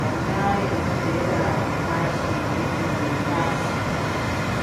Ana emazera epashi efundo yepashi